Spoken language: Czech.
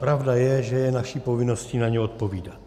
Pravda je, že je naší povinností na ně odpovídat.